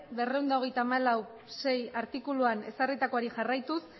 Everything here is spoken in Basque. berrehun eta berrogeita hamalau puntu sei artikuluan ezarritakoari jarraituz